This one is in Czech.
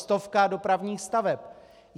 Stovka dopravních staveb.